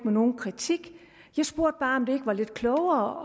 nogen kritik jeg spurgte bare om det ikke var lidt klogere